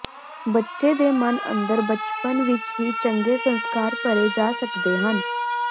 ਬੱਚੇ ਦੇ ਮਨ ਅੰਦਰ ਬਚਪਨ ਵਿੱਚ ਹੀ ਚੰਗੇ ਸੰਸਕਾਰ ਭਰੇ ਜਾ ਸਕਦੇ ਹਨ